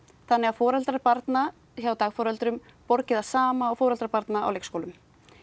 þannig að foreldrar barna hjá dagforeldrum borgi það sama og foreldrar barna á leikskólum